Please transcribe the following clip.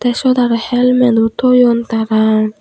te sut aro helmet o toyon tara.